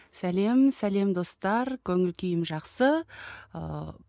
сәлем сәлем достар көңіл күйім жақсы ыыы